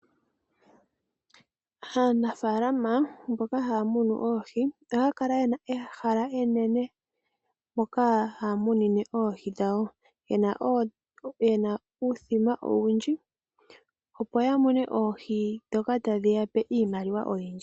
Aanafaalama mboka haya munu oohi ohaya kala ye na ehala enene mpoka haya munine oohi dhawo. Ye na uuthima owundji, opo ya mone oohi ndhoka tadhi ya pe iimaliwa oyindji.